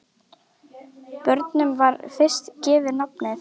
Bornum var í fyrstu gefið nafnið